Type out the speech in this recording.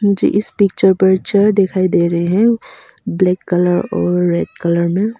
मुझे इस पिक्चर पर चेयर दिखाई दे रहे हैं ब्लैक कलर और रेड कलर में।